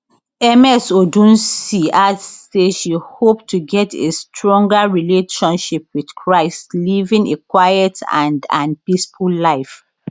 ms odunsi add say she hope to get a stronger relationship with christ living a quiet and and peaceful life